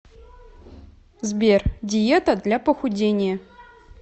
сбер диета для похудения